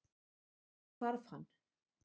Svo hvarf hann.